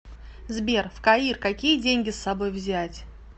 сбер в каир какие деньги с собой взять